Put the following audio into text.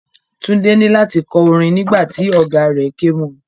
Tunde ni lati kọ orin nígbà tí ọ̀gáa rẹ̀ ké mo.